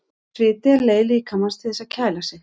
Sviti er leið líkamans til þess að kæla sig.